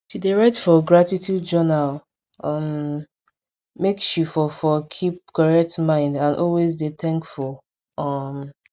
she dey write for gratitude journal um make she for for keep correct mind and always dey thankful um